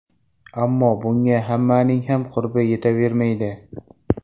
Ammo bunga hammaning ham qurbi yetavermaydi”.